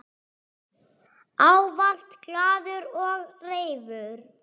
Ávallt glaður og reifur.